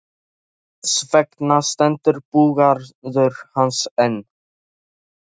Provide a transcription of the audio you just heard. Þess vegna stendur búgarður hans enn.